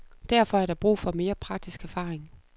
Derfor er der brug for mere praktisk erfaring.